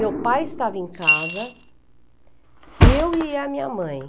Meu pai estava em casa, eu e a minha mãe.